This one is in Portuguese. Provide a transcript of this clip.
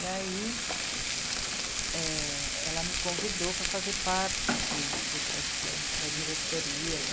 E aí, é... ela me convidou para fazer parte do do Creche Plan, da diretoria, da...